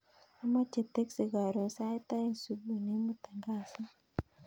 Amoche teksi koron sait oeing subui neimuton kasit